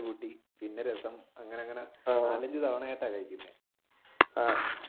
പിന്നെ രസം അങ്ങനെ അങ്ങനെ